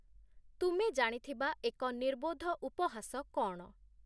ତୁମେ ଜାଣିଥିବା ଏକ ନିର୍ବୋଧ ଉପହାସ କଣ